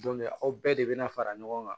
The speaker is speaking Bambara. aw bɛɛ de bɛ na fara ɲɔgɔn kan